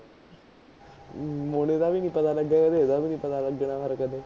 ਮੋਨੇ ਦਾ ਵੀ ਨੀ ਪਤਾ ਲਗਿਆ, ਇਹਦਾ ਵੀ ਨੀ ਪਤਾ ਲਗਣਾ ਹੋਰ ਕਿਤੇ